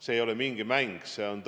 See ei ole mingi mäng!